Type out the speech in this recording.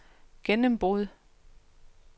gennembrud